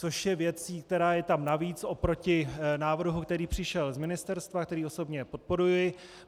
Což je věcí, která je tam navíc oproti návrhu, který přišel z ministerstva, který osobně podporuji.